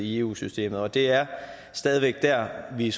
i eu systemet og det er stadig væk der vi